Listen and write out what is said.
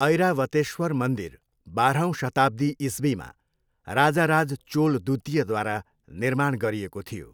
ऐरावतेश्वर मन्दिर बाह्रौँ शताब्दी इस्वीमा राजाराज चोल द्वितीयद्वारा निर्माण गरिएको थियो।